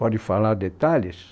Pode falar detalhes?